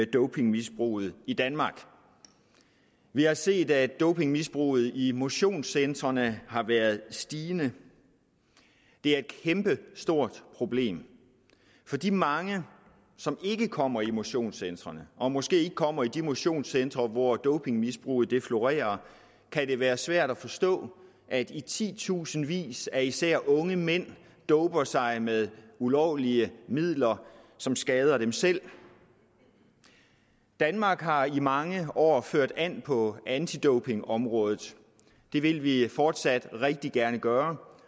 dopingmisbruget i danmark vi har set at dopingmisbruget i motionscentrene har været stigende det er et kæmpestort problem for de mange som ikke kommer i motionscentrene og som måske ikke kommer i de motionscentre hvor dopingmisbruget florerer kan det være svært at forstå at i titusindvis af især unge mænd doper sig med ulovlige midler som skader dem selv danmark har i mange år ført an på antidopingområdet og det vil vi fortsat rigtig gerne gøre